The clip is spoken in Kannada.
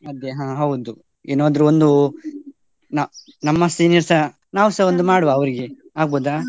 ಅದೇ ಹಾ ಹೌದು, ಏನಾದ್ರೂ ಒಂದು ನ~ ನಮ್ಮ seniors ಸ ನಾವ್ಸ ಮಾಡುವ ಅರ್ರ್ಗೆ ಆಗ್ಬೋದ?